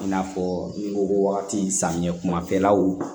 I n'a fɔ n ko wagati samiyɛ kumafɛlaw